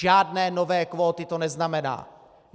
Žádné nové kvóty to neznamená.